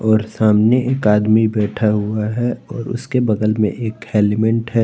और सामने एक आदमी बैठा हुआ है और उसके बगल में एक हेलमेट है।